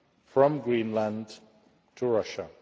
from Greenland to Russia.